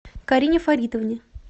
карине фаритовне